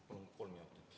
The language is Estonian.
Palun kolm minutit lisaks.